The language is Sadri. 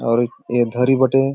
और ए धरी बटें --